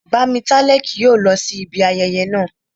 Bámitálẹ́ kì yóò lọ sí ibi ayẹyẹ naa